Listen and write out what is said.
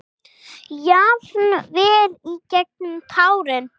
Jafnvel í gegnum tárin.